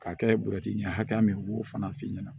K'a kɛ bɔrɛti ɲɛ hakɛya min ye u b'o fana f'i ɲɛna